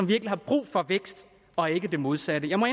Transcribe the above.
virkelig har brug for vækst og ikke det modsatte jeg må